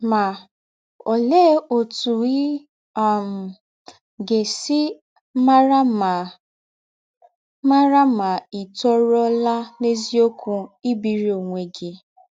Ma, ọlee ọtụ ị um ga - esi mara ma mara ma ì tọrụọla n’eziọkwụ ibiri ọnwe gị?